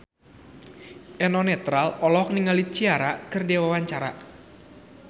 Eno Netral olohok ningali Ciara keur diwawancara